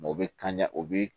o bɛ kan o bi